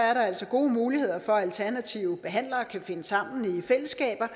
er der altså gode muligheder for at alternative behandlere kan finde sammen i fællesskaber